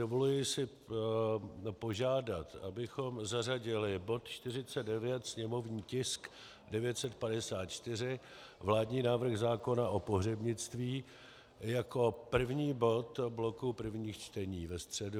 Dovoluji si požádat, abychom zařadili bod 49, sněmovní tisk 954, vládní návrh zákona o pohřebnictví, jako první bod bloku prvních čtení ve středu.